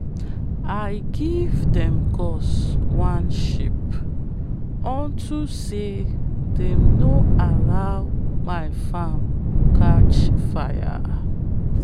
i give them gods one sheep onto say them no allow my farm catch fire.